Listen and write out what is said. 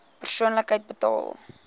persoonlik betaal